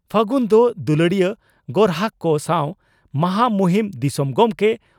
ᱯᱷᱟᱹᱜᱩᱱ ᱫᱚ ᱫᱩᱞᱟᱹᱲᱤᱭᱟᱹ ᱜᱚᱨᱦᱟᱠ ᱠᱚ ᱥᱟᱣ ᱢᱚᱦᱟ ᱢᱩᱦᱤᱢ ᱫᱤᱥᱚᱢ ᱜᱚᱢᱠᱮ